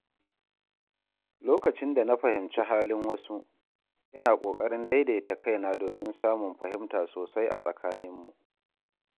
Lokacin da na fahimci halin wasu, ina ƙoƙarin daidaita kaina domin samun fahimta sosai a tsakaninmu.